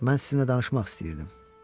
Mən sizinlə danışmaq istəyirdim.